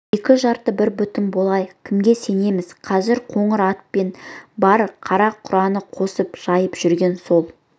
екі жарты бір бүтін болайық кімге сенеміз қазір қоңыр атпен бар қара-құраны қосып жайып жүрген сол